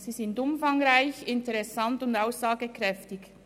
Sie sind umfangreich, interessant und aussagekräftig.